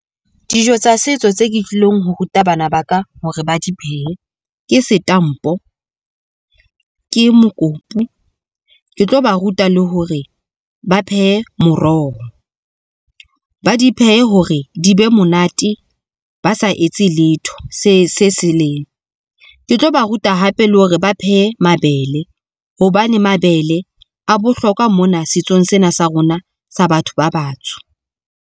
Dijo tsa setso tse ke tlilong ho ruta bana ba ka hore ba di phehe ke setampo, ke mokopu ke tlo ba ruta le hore ba phehe moroho. Ba di phehe hore di be monate, ba sa etse letho se se leng ke tlo ba ruta hape le hore ba phehe mabele. Hobane mabele a bohlokwa mona setsong sena sa rona sa batho ba batsho.